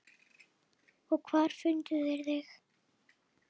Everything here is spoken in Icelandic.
Og hvar fundu þeir þig.